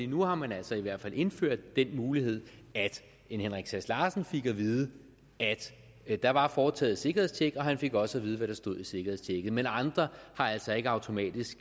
nu har man altså i hvert fald indført den mulighed at en henrik sass larsen fik at vide at der var foretaget et sikkerhedstjek og han fik også at vide hvad der stod i sikkerhedstjekket men andre har altså ikke automatisk